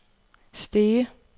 Stege